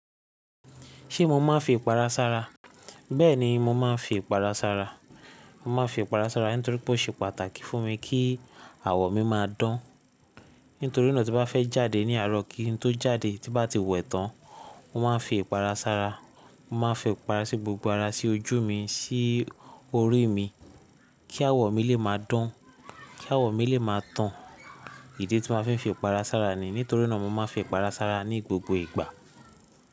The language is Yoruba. Ṣé mo máa ń fi ìpara sára? Bẹ́ẹ̀ni mo máa ń fi ìpara sára. Mo máa ń fi ìpara sára nítorí pé ó ṣe pàtàkì fún mi kí àwọ̀ mi máa dán. Nítorí náà tí bá fẹ́ jáde ní àárọ̀ kí n tó jáde tí bá ti wẹ̀ tán, mo máa ń fi ìpara sára. Mo máa ń fi ìpara sí gbogbo ara, sí ojú mi, sí orí mi kí àwọ̀ mi lè máa dán, kí àwọ̀ mi lè máa tán. Ìdí tí mo máa ń fi ìpara sára ni nítorí náà mo máa ń fi ìpara sára ní gbogbo ìgbà.